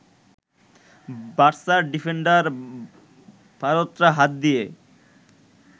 বার্সার defender Bartra হাত দিয়ে